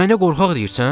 Mənə qorxaq deyirsən?